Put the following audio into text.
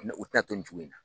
u tɛna to nin cogo in na.